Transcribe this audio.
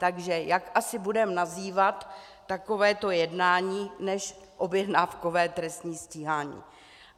Takže jak asi budeme nazývat takovéto jednání než objednávkové trestní stíhání?